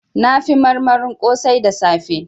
Na fi marmarin kosai da safe